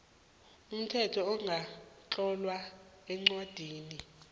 umthetho ongakatlolwa eencwadini